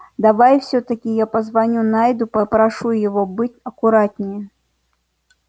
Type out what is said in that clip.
давай всё-таки я позвоню найду и попрошу его быть аккуратнее